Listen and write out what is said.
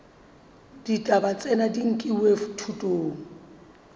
ditaba tsena di nkilwe thutong